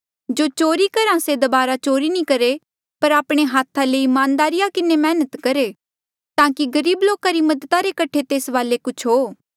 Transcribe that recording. जो चोरी करहा से दबारा चोरी नी करहे पर आपणे हाथा ले ईमानदारी किन्हें मैहनत करहे ताकि गरीब लोका री मदद करणे रे कठे भी तेस वाले कुछ हो